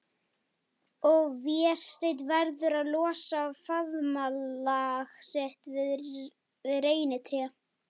Og Vésteinn verður að losa faðmlag sitt við reynitré.